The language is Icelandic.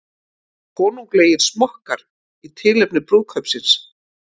Konunglegir smokkar í tilefni brúðkaupsins